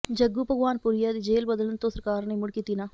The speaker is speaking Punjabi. ਜੱਗੂ ਭਗਵਾਨਪੁਰੀਆ ਦੀ ਜੇਲ੍ਹ ਬਦਲਣ ਤੋਂ ਸਰਕਾਰ ਨੇ ਮੁੜ ਕੀਤੀ ਨਾਂਹ